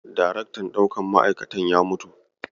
Daraktan ɗaukar ma'aikatan ya mutu.